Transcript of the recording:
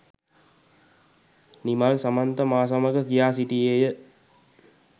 නිමල් සමන්ත මා සමග කියා සිටියේය.